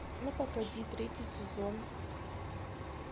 ну погоди третий сезон